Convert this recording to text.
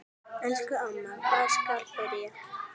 Elsku amma, hvar skal byrja?